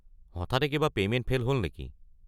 হঠাতে কিবা payment fail হ'ল নেকি?